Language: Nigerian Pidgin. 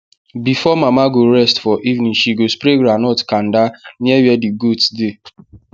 before mama go rest for evening she go spray groundnut kanda near where the goats dey